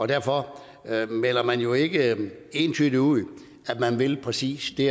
derfor melder man jo ikke entydigt ud at man vil præcis det